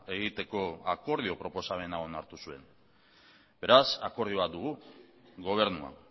egiteko akordio proposamena onartu zuen beraz akordio bat dugu gobernua